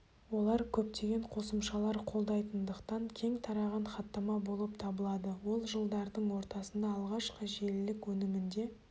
ол көптеген қосымшалар қолдайтындықтан кең тараған хаттама болып табылады ол жылдардың ортасында алғашқы желілік өнімінде